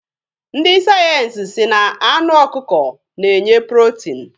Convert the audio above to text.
Ndị sayensi sị na anụ ọkụkọ na-enye protin.